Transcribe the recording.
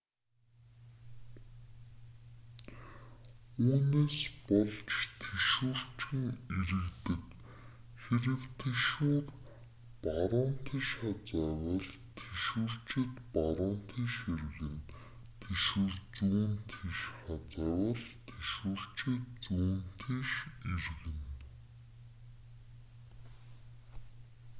үүнээс болж тэшүүрчин эргэдэг хэрэв тэшүүр баруун тийш хазайвал тэшүүрчид баруун тийш эргэж тэшүүр зүүн тийш хазайвал тэшүүрчин зүүн тийш эргэдэг